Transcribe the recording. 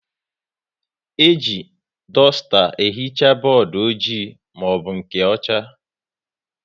E ji dusta ehicha bọọdụ ojii maọbụ nke ọcha